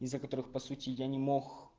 из-за которых по сути я не мох